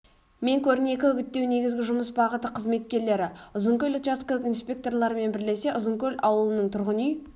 мен көрнекі үгіттеу негізгі жұмыс бағыты қызметкерлері ұзынкөл учаскілік инспекторлармен бірлесе ұзынкөл ауылының тұрғын үй